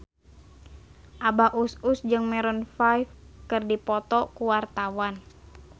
Abah Us Us jeung Maroon 5 keur dipoto ku wartawan